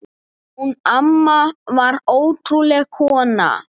Hún amma var ótrúleg kona.